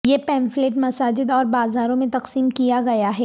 یہ پیمفلٹ مساجد اور بازاروں میں تقسیم کیا گیا ہے